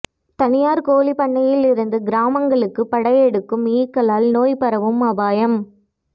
தனியார் கோழிப்பண்ணையில் இருந்து கிராமங்களுக்கு படையெடுக்கும் ஈக்களால் நோய் பரவும் அபாயம்